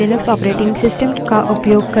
मैं Linux operating system का उपयोग कर रही हूँ